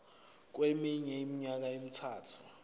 kweminye iminyaka emithathu